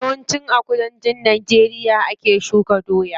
Yawan ci a kudancin najeriya ake shuka doya.